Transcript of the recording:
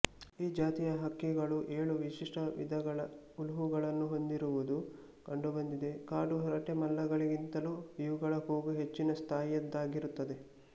ಈ ಜಾತಿಯ ಹಕ್ಕಿಗಳು ಏಳು ವಿಶಿಷ್ಟ ವಿಧಗಳ ಉಲುಹುಗಳನ್ನು ಹೊಂದಿರುವುದು ಕಂಡುಬಂದಿದೆ ಕಾಡು ಹರಟೆಮಲ್ಲಗಳಿಗಿಂತಲೂ ಇವುಗಳ ಕೂಗು ಹೆಚ್ಚಿನ ಸ್ಥಾಯಿಯದ್ದಾಗಿರುತ್ತದೆ